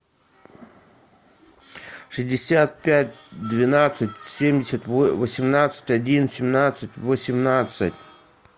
шестьдесят пять двенадцать семьдесят восемнадцать один семнадцать восемнадцать